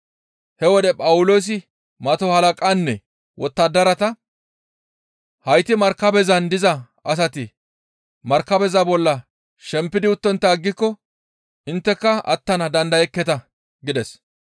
He wode Phawuloosi mato halaqaanne wottadarata, «Hayti markabezan diza asati markabeza bolla shempidi uttontta aggiko intteka attana dandayekketa» gides.